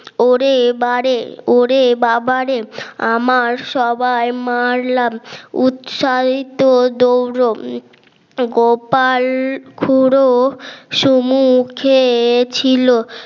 ওরে বারে ওরে বাবারে আমার সবাই মারলাম উৎসারিত দৌড় গোপাল খুড়ো সুমুখে ছিল